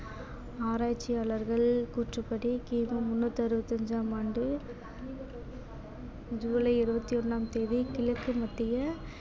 ஆராய்ச்சியாளர்கள் கூற்றுப்படி கிமு முன்னூத்தி அறுபத்தஞ்சாம் ஆண்டு ஜூலை இருபத்தி ஒண்ணாம் தேதி கிழக்கு மத்திய